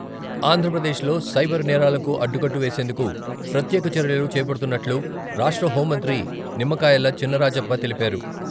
ఆంధ్రప్రదేశ్‌లో సైబర్ నేరాలకు అడ్డుకట్ట వేసేందుకు ప్రత్యేక చర్యలు చేపడుతున్నట్లు రాష్ట్ర హెూం మంత్రి నిమ్మకాయల చినరాజప్ప తెలిపారు.